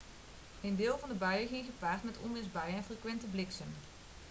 een deel van de buien ging gepaard met onweersbuien en frequente bliksem